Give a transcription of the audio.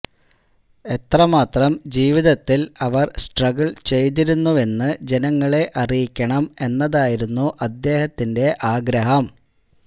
എത്രമാത്രം ജീവിതത്തിൽ അവർ സ്ട്രഗ്ഗിൾ ചെയ്തിരുന്നുവെന്ന് ജനങ്ങളെ അറിയിക്കണം എന്നതായിരുന്നു അദ്ദേഹത്തിന്റെ ആഗ്രഹം